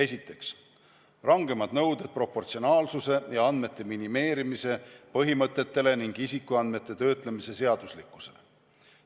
Esiteks, rangemad nõuded proportsionaalsuse ja andmete minimeerimise põhimõtetele ning isikuandmete töötlemise seaduslikkusele.